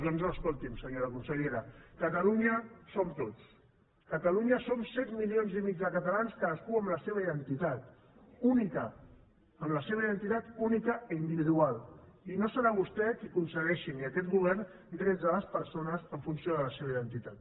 doncs no escolti’m senyora consellera catalunya som tots catalunya som set coma cinc milions de catalans cadascú amb la seva identitat única amb la seva identitat única i individual i no serà vostè qui concedeixi ni aquest govern drets a les persones en funció de la seva identitat